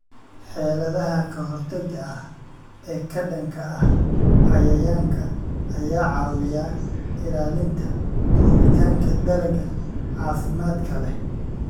Xeeladaha ka-hortagga ah ee ka dhanka ah cayayaanka ayaa caawiya ilaalinta koritaanka dalagga caafimaadka leh.